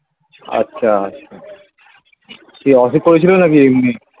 আচ্ছা কি অসুখ করেছিল নাকি এমনি